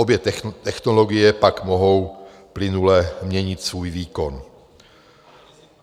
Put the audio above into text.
Obě technologie pak mohou plynule měnit svůj výkon.